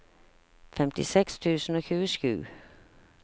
femtiseks tusen og tjuesju